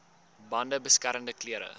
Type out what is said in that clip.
bande beskermende klere